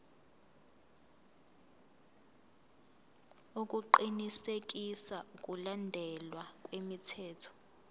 ukuqinisekisa ukulandelwa kwemithetho